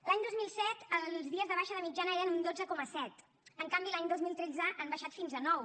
l’any dos mil set els dies de baixa de mitjana eren un dotze coma set en canvi l’any dos mil tretze han baixat fins a nou